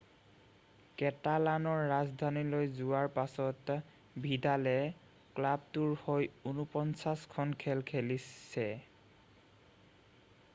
কেটালানৰ ৰাজধানীলৈ যোৱাৰ পাছত ভিডালে ক্লাবটোৰ হৈ 49 খন খেল খেলিছে